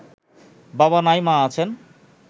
বাবা নাই মা আছেন